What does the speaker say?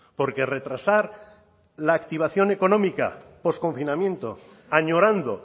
porque retrasar la activación económica posconfinamiento añorando